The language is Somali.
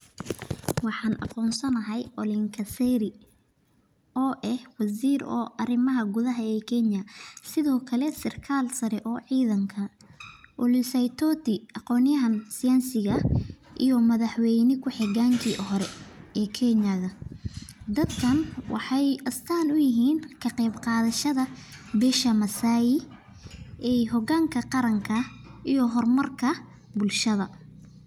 Waxan aqonsanahay ole nkaiserry oo eh wazir oo arimaha gud oo kenya sithokale sarkal sare oo cidhanka ole saitoti aqonyahan siyasi ah iyo madhax weyna kuxoganka hore oo kenya, dadkan waxee astan uyihin kaqeeb qadhashaada bisha masai iyo hoganka qaranka iyo hormaarka bilshaada.